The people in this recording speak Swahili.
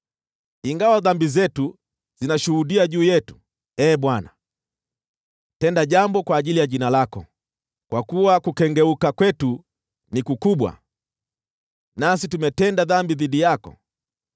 Ingawa dhambi zetu zinashuhudia juu yetu, Ee Bwana , tenda jambo kwa ajili ya jina lako. Kwa kuwa kukengeuka kwetu ni kukubwa, nasi tumetenda dhambi dhidi yako.